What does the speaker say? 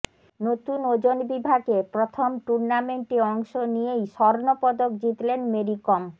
নতুন ওজন বিভাগে প্রথম টুর্নামেন্টে অংশ নিয়েই স্বর্ণপদক জিতলেন মেরি কম